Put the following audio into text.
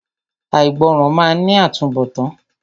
Àìgbọràn máa ní àtúnbọ̀tán.